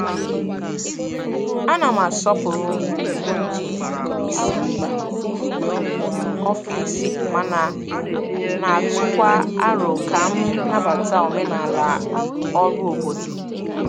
Ana m asọpụrụ iwu ndị isi mba ofesi mana na-atụkwa aro ka m nabata omenala ọrụ obodo.